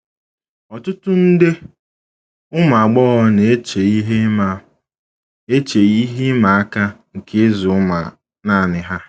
Ọtụtụ nde ụmụ agbọghọ na - eche ihe ịma eche ihe ịma aka nke ịzụ ụmụ nanị ha.